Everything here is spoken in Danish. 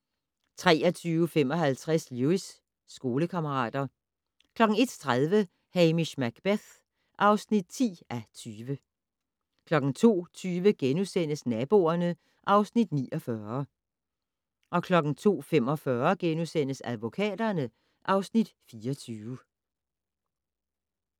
23:55: Lewis: Skolekammerater 01:30: Hamish Macbeth (10:20) 02:20: Naboerne (Afs. 49)* 02:45: Advokaterne (Afs. 24)*